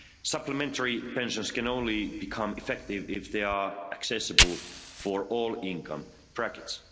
Supplementary pensions can only become effective if they are accessible for all income brackets.